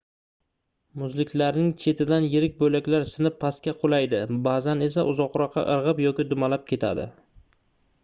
muzliklarning chetidan yirik boʻlaklar sinib pastga qulaydi baʼzan esa uzoqroqqa irgʻib yoki dumalab ketadi